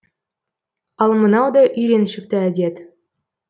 ал мынау да үйреншікті әдет